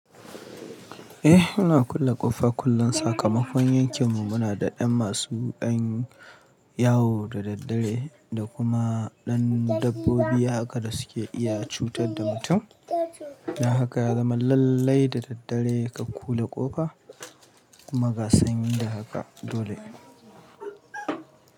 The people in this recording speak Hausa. Eh, muna kulle ƙofa kullum. Sakamakon yanke mu muna da ɗan masu ƴan yawo da daddare da kuma ɗan dabbobi haka da suke iya cutar da mutum. Don haka ya zama lallai da daddare ka kulle ƙofa kuma ga sanyi da haka dole.